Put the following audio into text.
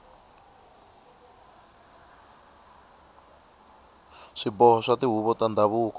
swiboho swa tihuvo ta ndhavuko